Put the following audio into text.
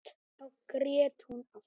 Þá grét hún aftur.